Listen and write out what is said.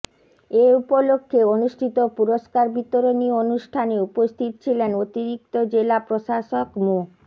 এ উপলক্ষে অনুষ্ঠিত পুরস্কার বিতরণী অনুষ্ঠানে উপস্থিত ছিলেন অতিরিক্তি জেলা প্রশাসক মো